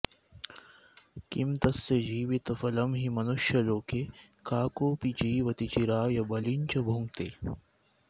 किं तस्य जीवितफलं हि मनुष्यलोके काकोऽपि जीवति चिराय बलिं च भुङ्क्ते